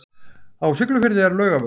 Á Siglufirði er Laugarvegur.